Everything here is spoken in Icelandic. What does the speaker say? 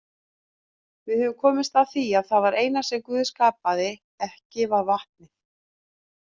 Við höfum komist að því að það eina sem Guð skapaði ekki var vatnið.